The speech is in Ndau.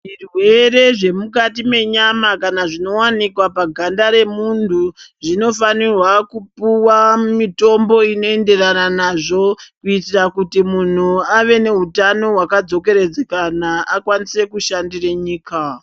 Zvirwere zvemukati menyama kana zvinowanikwa paganda remunhu zvinofanirwa kupuwa mutombo unoenderana nazvo kuitira kuti munhu ave nehutano hwakadzokorodzekana akwanise kushandire nyika.